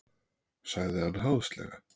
sagði hann háðslega.